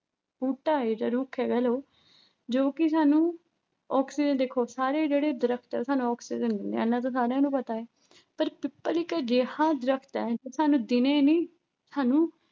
ਬੂਟਾ ਹੈ ਜਾਂ ਰੁੱਖ ਹੈ ਕਹਿ ਲਓ, ਜੋ ਕਿ ਸਾਨੂੰ ਆਕਸੀਜਨ ਦੇਖੋ ਸਾਰੇ ਜਿਹੜੇ ਦਰਖਤ ਹੈ ਸਾਨੂੰ ਆਕਸੀਜਨ ਦਿੰਦੇ ਹੈ, ਇੰਨਾ ਤਾਂ ਸਾਰਿਆਂ ਨੂੰ ਪਤਾ ਹੈ ਪਰ ਪਿੱਪਲ ਇੱਕ ਅਜਿਹਾ ਦਰਖਤ ਹੈ ਜੋ ਸਾਨੂੰ ਦਿਨੇ ਨੀ ਸਾਨੂੰ